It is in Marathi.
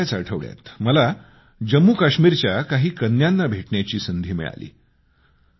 अलिकडे गेल्याच आठवड्यात मला जम्मू काश्मीरच्या काही कन्यांना भेटण्याची संधी मिळाली